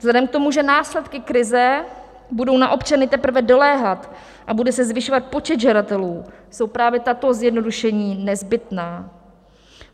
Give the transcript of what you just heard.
Vzhledem k tomu, že následky krize budou na občany teprve doléhat a bude se zvyšovat počet žadatelů, jsou právě tato zjednodušení nezbytná.